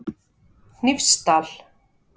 Hnífsdal